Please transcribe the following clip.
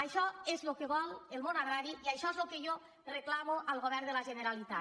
això és el que vol el món agrari i això és el que jo reclamo al govern de la generalitat